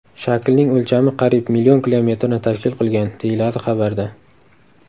Shaklning o‘lchami qariyb million kilometrni tashkil qilgan”, deyiladi xabarda.